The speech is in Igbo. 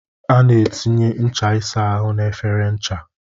A na-etinye ncha ịsa ahụ na efere ncha